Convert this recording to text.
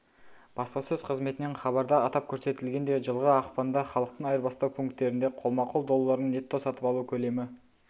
баспасөз қызметінен хабарда атап көрсетілгендей жылғы ақпанда халықтың айырбастау пункттерінде қолма-қол долларын нетто-сатып алу көлемі